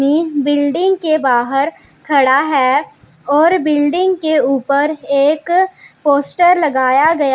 तीन बिल्डिंग के बाहर खड़ा है और बिल्डिंग के ऊपर एक पोस्टर लगाया गया--